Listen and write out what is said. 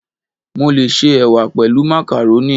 Mo lè se Ẹ̀wà pẹ̀lú màkàrónì.